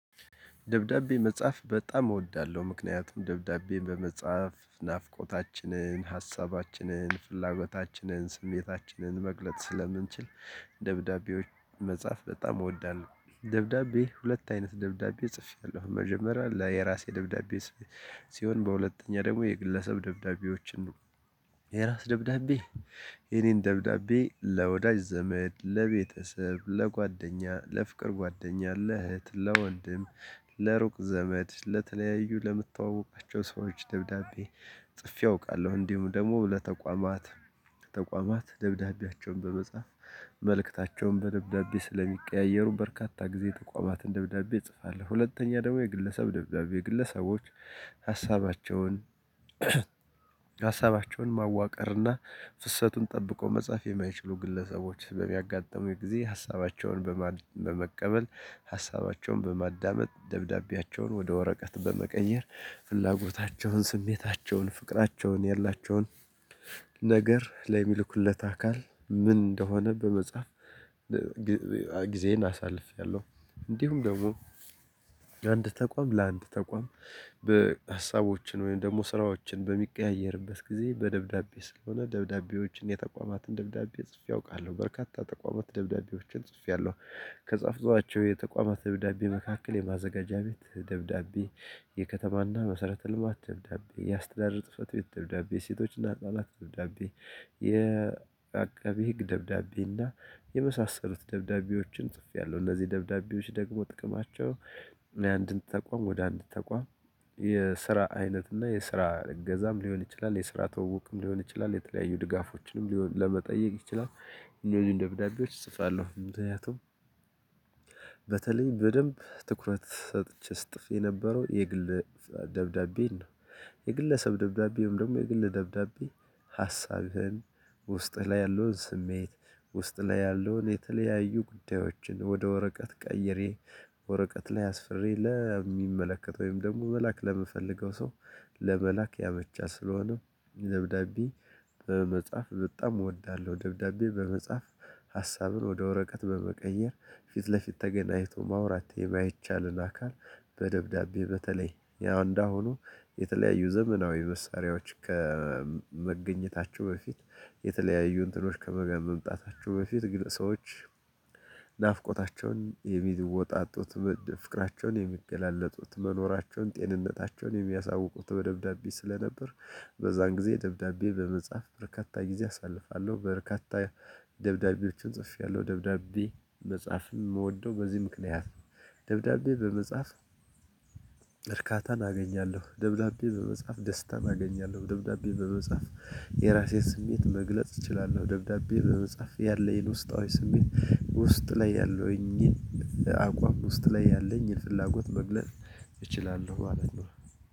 ደብዳቤ መጻፍ በጣም እወዳለሁ ምክንያቱም ደብዳቤ በመጻፍ ናፍቆታችንን ሀሳባችንን ፍላጎታችንን ስሜታችንን መግለጥ ስለምንችል ደብዳቤዎች መጻፍ በጣም እወዳለሁ። ደብዳቤ ሁለት አይነት ደብዳቤ ጽፌያለሁ መጀመሪያ ለየራሴ ደብዳቤ ሲሆን በሁለተኛ ደግሞ የግለሰብ ደብዳቤዎችን ነው። የራስ ደብዳቤ የኔን ደብዳቤ ለወዳጅ ዘመድ ለቤተሰብ ለጓደኛ ለፍቅር ጓደኛ ለእህት ለወንድም ለሩቅ ዘመድ ለተለያዩ ለምታዋወቃቸው ሰዎች ደብዳቤ ጽፌ አውቃለሁ። እንዲሁም ደግሞ ለተቋማት ተቋማት ደብዳቤያቸውን በመጻፍ መልእክታቸውን በደብዳቤ ስለሚቀያየሩ በርካታ ጊዜ ተቋማትን ደብዳቤ እጽፋለሁ። ሁለተኛ ደግሞ የግለሰብ ደብዳቤ ግለሰቦች ሀሳባቸውን ሀሳባቸውን ማዋቀርና ፍሰቱን ጠብቆ መጻፍ የማይችሉ ግለሰቦች በሚያጋጥሙኝ ጊዜ ሀሳባቸውን በመቀበል ሀሳባቸውን በማዳመጥ ደብዳቤያቸውን ወደ ወረቀት በመቀየር ፍላጎታቸውን ስሜታቸውን ፍቅራቸውን የላቸውን ነገር ለሚልኩለት አካል ምን እንደሆነ በመጻፍ ጊዜዬን አሳልፌያለሁ። እንዲሁም ደግሞ ለአንድ ተቋም ለአንድ ተቋም በሀሳቦችን ወይም ደግሞ ስራዎችን በሚቀያየርበት ጊዜ በደብዳቤ ስለሆነ ደብዳቤዎችን የተቋማትን ደብዳቤ ጽፌ አውቃለሁ በርካታ ተቋማት ደብዳቤዎችን ጽፌያለሁ። ከጻፍኳቸው የተቋማት ደብዳቤ መካከል የማዘጋጃ ቤት ደብዳቤ የከተማና መሰረተ ልማት ደብዳቤ ያስተዳደር ፅህፈት ቤት ደብዳቤ ሴቶችና ህፃናት የአቃቤ ህግ ደብዳቤ እና የመሳሰሉት ደብዳቤዎችን ጽፌያለሁ። እነዚህ ደብዳቤዎች ደግሞ ጥቅማቸው እኔ አንድን ተቋም ወደ አንድ ተቋም የስራ አይነት እና የስራ እገዛም ሊሆን ይችላል የስራ ትውውቅም ሊሆን ይችላል የተለያዩ ድጋፎችንም ሊሆን ለመጠየቅ ይችላል። እነዚህን ደብዳቤዎች እጽፋለሁ ምክንያቱም በተለይ በደንብ ትኩረት ሰጥቼ ስጥፍ የነበረው የግል ደብዳቤ ነው። የግለሰብ ደብዳቤም ደግሞ የግል ደብዳቤ ሀሳብህን ውስጥህ ላይ ያለውን ስሜት ውስጥ ላይ ያለውን የተለያዩ ጉዳዮችን ወደ ወረቀት ቀይሬ ወረቀት ላይ አስፍሬ ለሚመለከተው ወይም ደግሞ መላክ ለምፈልገው ሰው ለመላክ ያመቻል። ስለሆነ ደብዳቤ በመጻፍ በጣም እወዳለሁ። ደብዳቤ በመጻፍ ሀሳብን ወደ ወረቀት በመቀየር ፊት ለፊት ተገናኝቶ ማውራት የማይቻልን አካል በደብዳቤ በተለይ ያው እንዳሁኑ የተለያዩ ዘመናዊ መሳሪያዎች ከመገኘታቸው በፊት የተለያዩ እንትኖች ከመገ መምጣታቸው በፊት ግን ሰዎች ናፍቆታቸውን የሚወጣጡት ፍቅራቸውን የሚገላለጡት መኖራቸውን ጤንነታቸውን የሚያሳውቁት በደብዳቤ ስለነበር። በዛን ጊዜ ደብዳቤ በመጻፍ በርካታ ጊዜ አሳልፋለሁ በርካታ ደብዳቤዎችን ጽፌያለሁ። ደብዳቤ መጻፍ የምወደው በዚህ ምክንያት ነው። ደብዳቤ በመጻፍ እርካታን አገኛለሁ ደብዳቤ በመጻፍ ደስታን አገኛለሁ ደብዳቤ በመጻፍ የራሴን ስሜት መግለጽ እችላለሁ ደብዳቤ በመጻፍ ያለኝን ውስጣዊ ስሜት ውስጥ ላይ ያለኝን አቋም ውስጥ ላይ ያለኝ የፍላጎት መግለጽ እችላለሁ ማለት ነው።